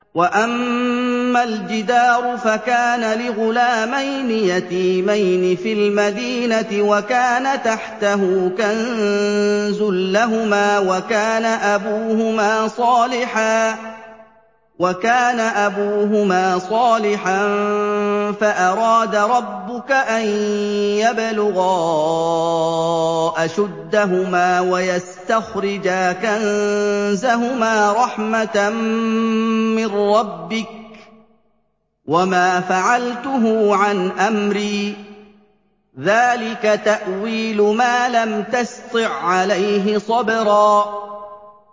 وَأَمَّا الْجِدَارُ فَكَانَ لِغُلَامَيْنِ يَتِيمَيْنِ فِي الْمَدِينَةِ وَكَانَ تَحْتَهُ كَنزٌ لَّهُمَا وَكَانَ أَبُوهُمَا صَالِحًا فَأَرَادَ رَبُّكَ أَن يَبْلُغَا أَشُدَّهُمَا وَيَسْتَخْرِجَا كَنزَهُمَا رَحْمَةً مِّن رَّبِّكَ ۚ وَمَا فَعَلْتُهُ عَنْ أَمْرِي ۚ ذَٰلِكَ تَأْوِيلُ مَا لَمْ تَسْطِع عَّلَيْهِ صَبْرًا